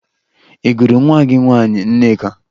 Ị gụrụ nwa gị nwaanyị Nneka?